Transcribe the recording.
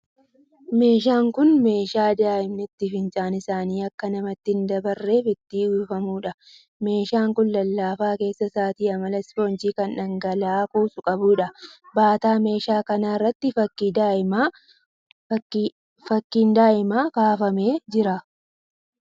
Meeshaan kun meeshaa daa'immanitti fincaan isaanii akka namatti hin dabarreef itti uwwifamuudha. Meeshaan kun lallaafaa keessa isaatii amala ispoonjii kan dhangala'aa kuusu qabuudha. Baataa meeshaa kanaa irratti fakkiin daa'imaa kaafamee jira.